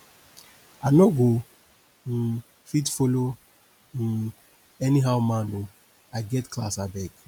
i no go um fit follow um anyhow man o i get class abeg